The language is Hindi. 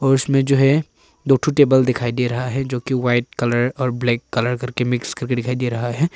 उसमें जो है दो ठो टेबल दिखाई दे रहा है जो की वाइट कलर और ब्लैक कलर करके मिक्स करके दिखाई दे रहा है।